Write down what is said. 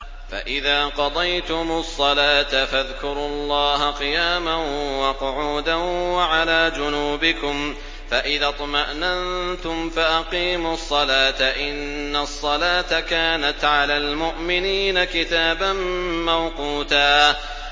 فَإِذَا قَضَيْتُمُ الصَّلَاةَ فَاذْكُرُوا اللَّهَ قِيَامًا وَقُعُودًا وَعَلَىٰ جُنُوبِكُمْ ۚ فَإِذَا اطْمَأْنَنتُمْ فَأَقِيمُوا الصَّلَاةَ ۚ إِنَّ الصَّلَاةَ كَانَتْ عَلَى الْمُؤْمِنِينَ كِتَابًا مَّوْقُوتًا